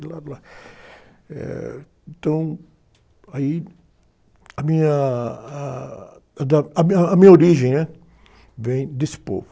do lado, lá. Eh, então, aí a minha, a, da, a origem, né? Vem desse povo.